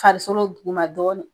Farisolo duguma dɔɔni